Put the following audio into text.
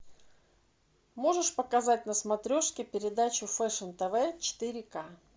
можешь показать на смотрешке передачу фэшн тв четыре к